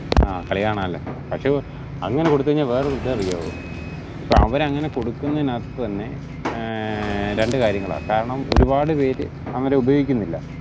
ആഹ് കാളികാണാലോ പക്ഷെ അങ്ങനെ കൊടുത്തു കഴിഞ്ഞാൽ വേറൊരു ഇത് അറിയുവോ ഇപ്പൊ അവർ അങ്ങനെ കൊടുക്കുന്നനത് തന്നെ ഏർ രണ്ടു കാര്യങ്ങളാ കാരണം ഒരുപാട് പേര് അവരെ ഉപയോഗിക്കുന്നില്ല